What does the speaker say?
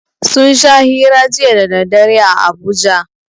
Sun sha hira jiya da daddare a Abuja.